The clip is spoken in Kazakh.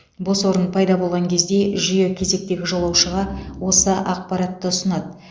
бос орын пайда болған кезде жүйе кезектегі жолаушыға осы ақпаратты ұсынады